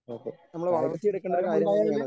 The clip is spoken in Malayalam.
ഓക്കേ കായിക സംസ്കാരം ഉണ്ടായാലേ